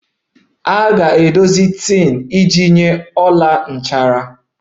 A ga-edozi tin iji nye ọla nchara